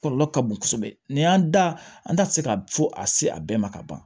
Kɔlɔlɔ ka bon kosɛbɛ nin y'an da an da tɛ se ka fɔ a se a bɛɛ ma ka ban